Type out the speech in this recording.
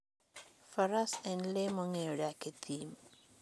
Faras en le mong'eyo dak e thim.